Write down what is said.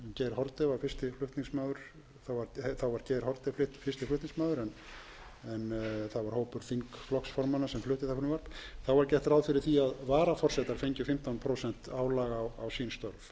flutningsmaður en það var hópur þingflokksformanna sem fluttu það frumvarp þá var gert ráð fyrir því að varaforsetar fengju fimmtán prósent álag á sín störf þessu frumvarpi var